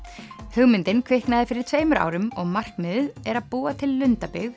hugmyndin kviknaði fyrir tveimur árum og markmiðið er að búa til lundabyggð